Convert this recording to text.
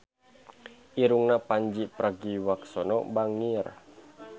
Irungna Pandji Pragiwaksono bangir